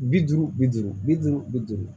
Bi duuru bi duuru bi duuru bi duuru